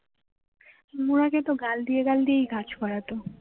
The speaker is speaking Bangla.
তোমাকে তো গাল দিয়ে গাল দিয়েই কাজ করাতো